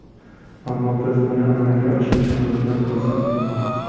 Ammo biz buni amalga oshirishimizdan xursandman.